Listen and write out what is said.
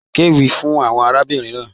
Kéwì fún àwọn arábìnrin náà.